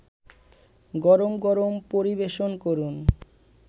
গরম গরম পরিবেশন করুন